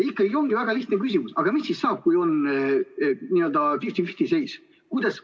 Ja ongi väga lihtne küsimus: aga mis siis saab, kui on 50 : 50 seis?